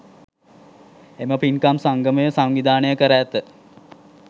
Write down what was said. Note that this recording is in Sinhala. එම පින්කම් සංගමය සංවිධානය කර ඇත.